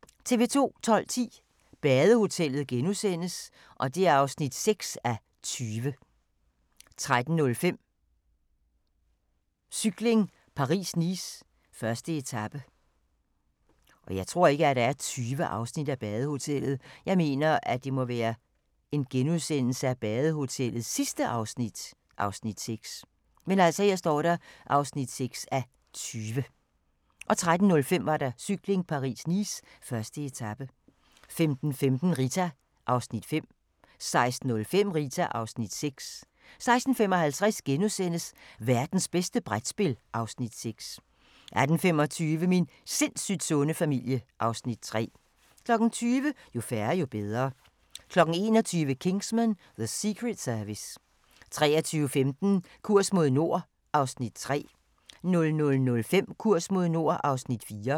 12:10: Badehotellet (6:20)* 13:05: Cykling: Paris-Nice - 1. etape 15:15: Rita (Afs. 5) 16:05: Rita (Afs. 6) 16:55: Værtens bedste brætspil (Afs. 6)* 18:25: Min sindssygt sunde familie (Afs. 3) 20:00: Jo færre, jo bedre 21:00: Kingsman: The Secret Service 23:15: Kurs mod nord (Afs. 3) 00:05: Kurs mod nord (Afs. 4)